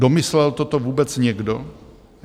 Domyslel toto vůbec někdo?